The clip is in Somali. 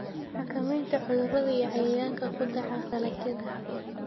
Xakamaynta cudurrada iyo cayayaanka ku dhaca dalagyada.